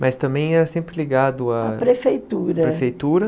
Mas também era sempre ligado à... à prefeitura... à prefeitura.